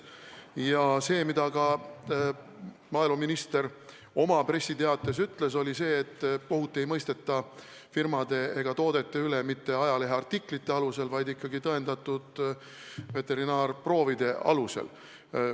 Ja maaeluminister ütles ju oma pressiteates, et kohut firmade ja toodete üle ei mõisteta mitte ajaleheartiklite alusel, vaid ikkagi tõendatud veterinaarproovide alusel.